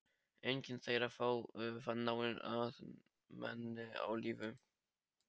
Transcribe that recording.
Enginn þeirra fann náin ættmenni á lífi.